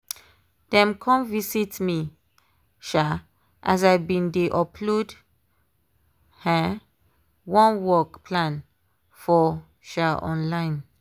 dem come visit me um as i been dey upload um one work plan for um online